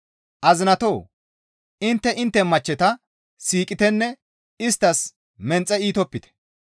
Azinatoo! Intte intte machcheta siiqitenne isttas menxe iitopite.